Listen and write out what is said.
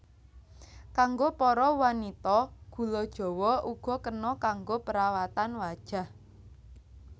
Kanggo para wanita gula jawa uga kena kanggo perawatan wajah